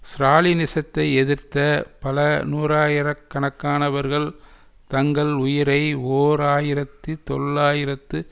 ஸ்ராலினிசத்தை எதிர்த்த பல நூறாயிரக்கணக்கானவர்கள் தங்கள் உயிரை ஓர் ஆயிரத்தி தொள்ளாயிரத்து